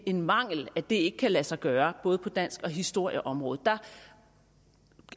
en mangel at det ikke kan lade sig gøre både på dansk og historieområdet der